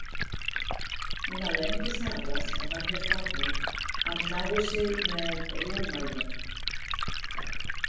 Hún hafði engu svarað og hann hélt áfram: Hann tjáir sig með rúmalnum.